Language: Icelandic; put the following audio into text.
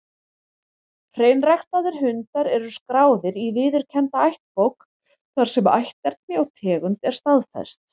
Hreinræktaðir hundar eru skráðir í viðurkennda ættbók, þar sem ætterni og tegund er staðfest.